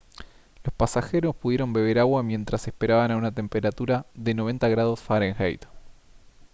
los pasajeros pudieron beber agua mientras esperaban a una temperatura de 90 °f